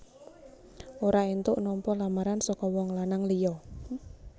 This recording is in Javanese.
Ora éntuk nampa lamaran saka wong lanang liya